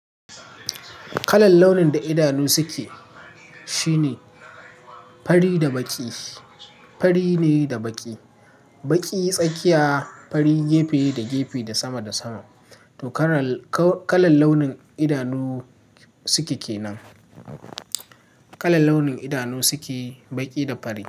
Kalan launin da idanu suke, shine fari da baƙi, fari ne da baƙi. Baƙi tsakiya, fari gefe da gefe da sama da sama. To karan-- ka-kalan launin idanu suke kenan. Kalan launin idanu suke, baƙi da fari.